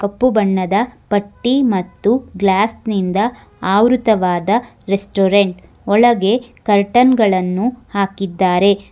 ಕಪ್ಪು ಬಣ್ಣದ ಪಟ್ಟಿ ಮತ್ತು ಗ್ಲಾಸ್ ನಿಂದ ಆವೃತವಾದ ರೆಸ್ಟೋರೆಂಟ್ ಒಳಗೆ ಕರ್ಟನ್ ಗಳನ್ನು ಹಾಕಿದ್ದಾರೆ.